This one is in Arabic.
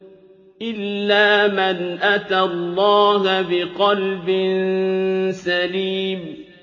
إِلَّا مَنْ أَتَى اللَّهَ بِقَلْبٍ سَلِيمٍ